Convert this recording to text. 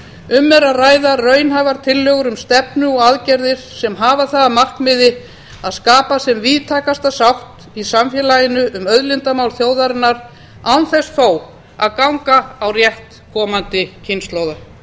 um er að ræða raunhæfar tillögur um stefnu og aðgerðir sem hafa það að markmiði að skapa sem víðtækasta sátt í samfélaginu um auðlindamál þjóðarinnar án þess þó að ganga á rétt komandi kynslóða